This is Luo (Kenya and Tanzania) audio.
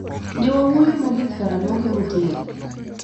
Ne awuoyo mogik karang'o gi Mutinda?